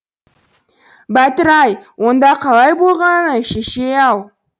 бәтір ай онда қалай болғаны шешей ау